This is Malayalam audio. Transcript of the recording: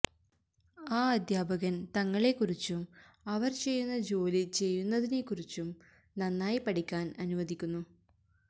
ആ അധ്യാപകൻ തങ്ങളെക്കുറിച്ചും അവർ ചെയ്യുന്ന ജോലി ചെയ്യുന്നതിനെക്കുറിച്ചും നന്നായി പഠിക്കാൻ അനുവദിക്കുന്നു